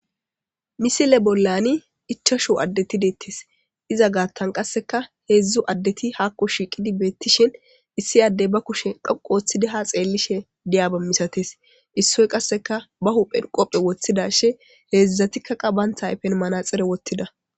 misile bollani ichashu addetideettes iza gaattan qasseka heedzdzu addeti haakko shiiqidi beettishin issi addey ba kushe dhoqu ooththidi ha xeellishe diyaba misates issoy qasseka ba huphen qophe woththidashe heedzdzatikka qa bantha ayfen manaxere wottida